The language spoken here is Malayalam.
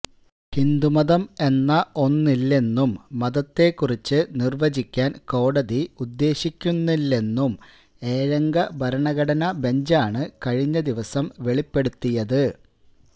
ഹിന്ദുമതം എന്ന ഒന്നില്ലെന്നും മതത്തെക്കുറിച്ച് നിര്വചിക്കാന് കോടതി ഉദ്ദേശിക്കുന്നില്ലെന്നും ഏഴംഗ ഭരണഘടനാ ബെഞ്ചാണ് കഴിഞ്ഞ ദിവസം വെളിപ്പെടുത്തിയത്